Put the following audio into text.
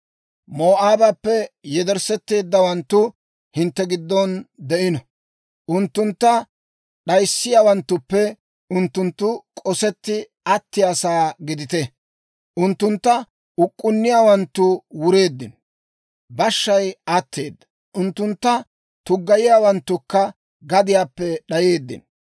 Moo'aabappe yedersseeteeddawanttu hintte giddon de'ino; unttuntta d'ayissiyaawanttuppe unttunttu k'osetti attiyaasaa gidite. Unttuntta uk'k'unniyaawanttu wureeddino; bashshay atteeda; unttunttu tuggayiyaawanttukka gadiyaappe d'ayeeddino.